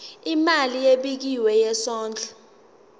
imali ebekiwe yesondlo